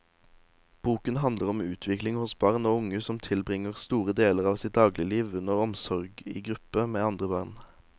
Boken handler om utvikling hos barn og unge som tilbringer store deler av sitt dagligliv under omsorg i gruppe med andre barn.